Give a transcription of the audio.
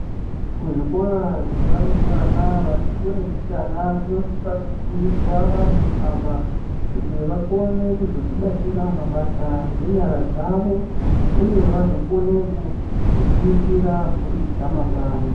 Kuzvikora zvevarumbwana vati kure mbichana kunosisa kufundiswa vanthu ava kuti vakone kuzodzibatira mabasa ngenyara dzavo uye vazokone kuriritira mburi dzamangwani.